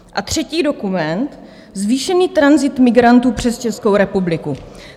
A třetí dokument: Zvýšený tranzit migrantů přes Českou republiku.